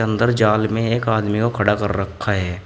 अंदर जाल में एक आदमी को खड़ा कर रखा है।